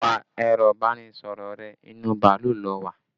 Pa ẹ̀rọ ibanisoro rẹ, inú bàálù lo wà!